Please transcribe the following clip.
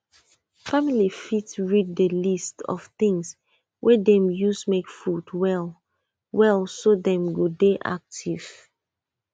family fit read the list of things wey dem use make food well well so dem go dey active